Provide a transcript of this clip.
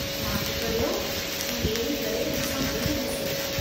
माठि करियो ऐं वेही करे मूं सां गॾु ॾिसो।